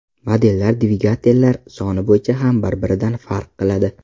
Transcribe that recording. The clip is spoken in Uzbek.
Modellar dvigatellar soni bo‘yicha ham bir-biridan farq qiladi.